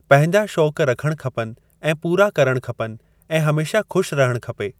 पंहिंजा शौक़ रखणु खपनि ऐं पूरा करणु खपनि ऐं हमेशा खु़शि रहणु खपे।